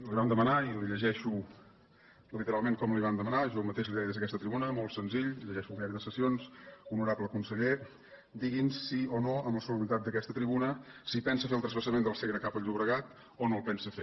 li vam demanar i li llegeixo literalment com li vam demanar jo mateix li deia des d’aquesta tribuna molt senzill llegeixo el diari de sessions ho norable conseller digui’ns sí o no amb la solemnitat d’aquesta tribuna si pensa fer el transvasament del segre cap al llobregat o no el pensa fer